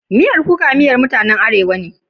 Miyar kuka miyar mutanen Arewa ce.